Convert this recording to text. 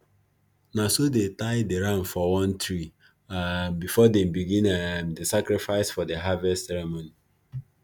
na so they tie the ram for one tree um before them begin um the sacrifice for harvest ceremony